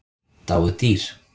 Dáið dýr.